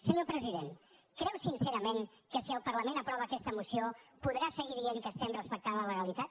senyor president creu sincerament que si el parlament aprova aquesta moció podrà seguir dient que estem respectant la legalitat